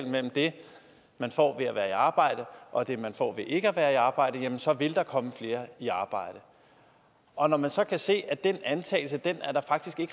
mellem det man får ved at være i arbejde og det man får ved ikke at være i arbejde så vil der komme flere i arbejde og når man så kan se at den antagelse er der faktisk